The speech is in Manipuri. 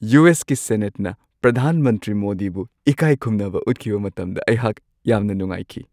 ꯌꯨ.ꯑꯦꯁ.ꯀꯤ ꯁꯦꯅꯦꯠꯅ ꯄ꯭ꯔꯙꯥꯟ ꯃꯟꯇ꯭ꯔꯤ ꯃꯣꯗꯤꯕꯨ ꯏꯀꯥꯏꯈꯨꯝꯅꯕ ꯎꯠꯈꯤꯕ ꯃꯇꯝꯗ ꯑꯩꯍꯥꯛ ꯌꯥꯝꯅ ꯅꯨꯡꯉꯥꯏꯈꯤ ꯫